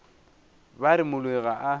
ba re moloi ga a